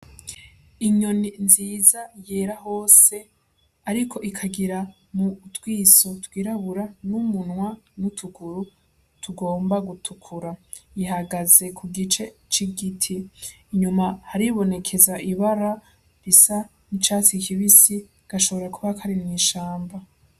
Inyoni nziza yera hose ariko ikagira utwiso twirabura n'umunwa n'utuguru tugomba gutukura, ihagaze ku gice c'igiti. Inyuma haribonekeza ibara risa n'icatsi kibisi, gashoboye kuba kari mw'ishamba.